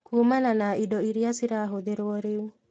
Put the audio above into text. Kuumana na indo iria cirahũthĩrwo rĩu